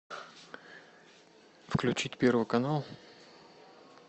включить первый канал